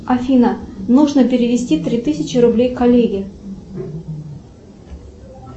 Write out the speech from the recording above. афина нужно перевести три тысячи рублей коллеге